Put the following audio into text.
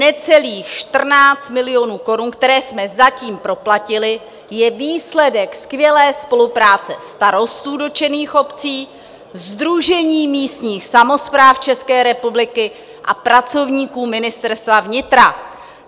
Necelých 14 milionů korun, které jsme zatím proplatili, je výsledek skvělé spolupráce starostů dotčených obcí, Sdružení místních samospráv České republiky a pracovníků Ministerstva vnitra."